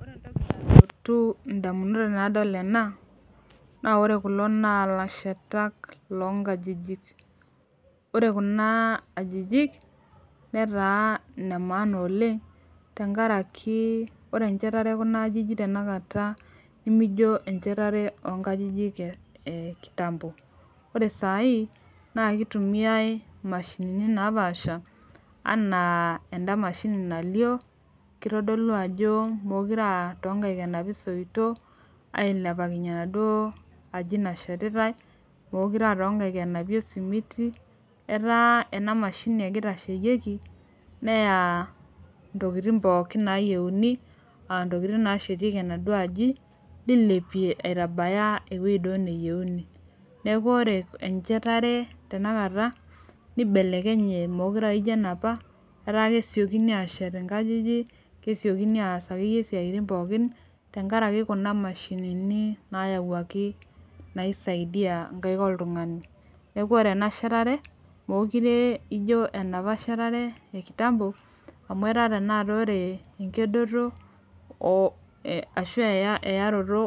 Ore entoki nalotu damunot tenadol ena, naa ore kulo naa ilashetak loonkajijik. ore Kuna ajijik netara ine maana oleng, tenkaraki ore enchetare ekuna ajijik tenakata, nemijo enchatare oo nkajijik e kitambo. ore sai naa kitumiae mashini napaasha. enaa eda mashini nalio. kitodolu ajo meekure aa too nkaik enapi soitok, ailepakinye enaduoo aji nashetitae. meekure aa too nkaik enapi osimiti. etaa ena mashini ake itashyieki neya. ntokitin pookin naayieuni. ntokitin naashetieki.e aduoo aji, nilipie aya ewueji duoo neyienu. neeku ore enchetare tenakata. nibelekenye meekure aa ijo enapa. etaa kesiokini aashet inkajijik. kesiokini aa akeyie siatin akeyie pookin. tenkaraki Kuna mashinni nasyawuaki naisaidia inkaik oltungani. neeku ore e a shetare meekure aijo enapa e kitambo. enkedoto ashu eyaroto